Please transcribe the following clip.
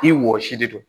I wɔsi de don